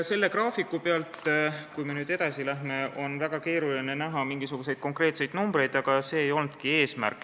Selle graafiku pealt on väga keeruline näha mingisuguseid konkreetseid numbreid, aga see ei olnudki eesmärk.